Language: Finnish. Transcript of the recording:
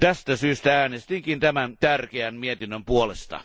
Tästä syystä äänestinkin tämän tärkeän mietinnön puolesta.